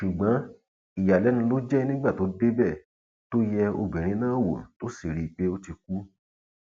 ṣùgbọn ìyàlẹnu ló jẹ nígbà tó débẹ tó yẹ obìnrin náà wò tó sì rí i pé ó ti kú